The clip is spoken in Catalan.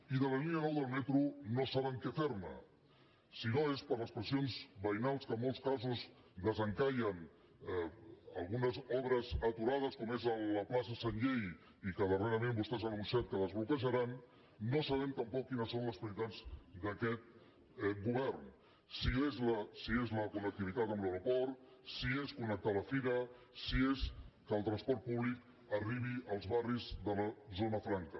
i de la línia nou del metro no saben què fer ne si no és per les pressions veïnals que en molts casos desencallen algunes obres aturades com és a la plaça sanllehy i que darrerament vostès han anunciat que desbloquejaran no sabem tampoc quines són les prioritats d’aquest govern si és la connectivitat amb l’aeroport si és connectar la fira si és que el transport públic arribi als barris de la zona franca